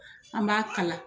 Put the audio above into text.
An b'a kala